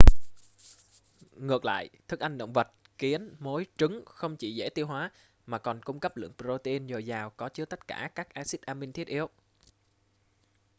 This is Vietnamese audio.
ngược lại thức ăn động vật kiến mối trứng không chỉ dễ tiêu hóa mà còn cung cấp lượng protein dồi dào có chứa tất cả các axit amin thiết yếu